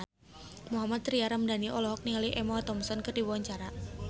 Mohammad Tria Ramadhani olohok ningali Emma Thompson keur diwawancara